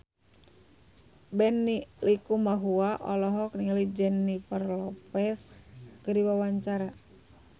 Benny Likumahua olohok ningali Jennifer Lopez keur diwawancara